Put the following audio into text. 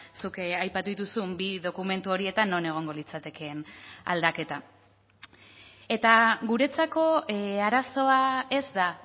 zuk aipatu dituzun bi dokumentu horietan non egongo litzatekeen aldaketa eta guretzako arazoa ez da